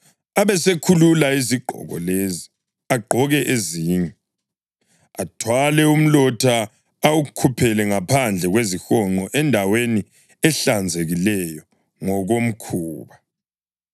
Abesekhulula izigqoko lezi agqoke ezinye, athwale umlotha awukhuphele phandle kwezihonqo endaweni ehlanzekileyo ngokomkhuba.